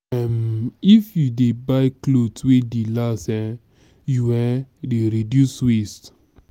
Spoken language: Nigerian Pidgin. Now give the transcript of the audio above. um if you dey buy clothes wey dey last um you um dey reduce waste.